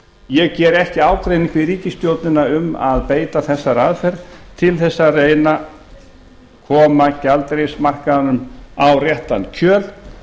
ég geri ekki ágreining við ríkisstjórnina um að beita þessari aðferð til þess að reyna að koma gjaldeyrismarkaðnum á réttan kjöl